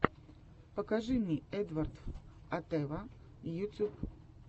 покажи мне эдвардв атэва ютьюб